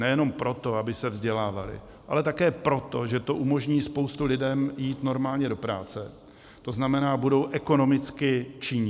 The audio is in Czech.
Nejenom proto, aby se vzdělávaly, ale také proto, že to umožní spoustě lidem jít normálně do práce, to znamená, budou ekonomicky činní.